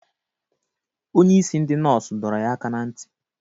Onye isi ndị nọọsụ doro yaaka na nti